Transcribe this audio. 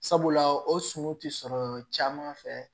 Sabula o sun ti sɔrɔ caman fɛ